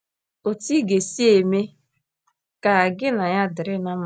Otú ị ga - esi mee ka gị na ya dịrị ná mma.